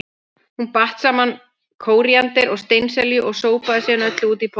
Hún batt saman kóríander og steinselju og sópaði síðan öllu út í pottinn.